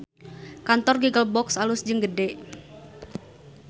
Kantor Giggle Box alus jeung gede